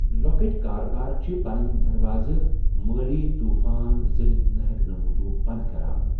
لۄكٕٹۍ کاروبار چھِ پنٕنۍ دروازٕ مٲلی طوُفان زرتھ نہ ہیکنہ موجوب بند كران ۔